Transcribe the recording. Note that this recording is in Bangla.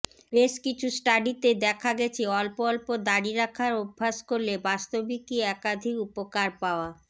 বেশ কিছু স্টাডিতে দেখা গেছে অল্প অল্প দারি রাখার অভ্যাস করলে বাস্তবিকই একাধিক উপকার পাওয়া